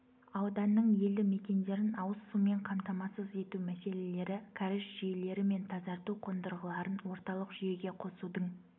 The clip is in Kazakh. ауданның елді мекендерін ауыз сумен қамтамасыз ету мәселелері кәріз жүйелері мен тазарту қондырғыларын орталық жүйеге қосудың